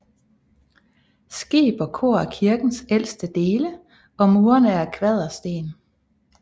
Skib og kor er kirkens ældste dele og murene er af kvadersten